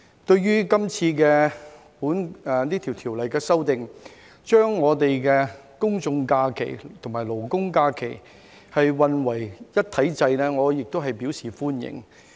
對於這次修訂法例，將公眾假期和勞工假期混為一體制，我也表示歡迎。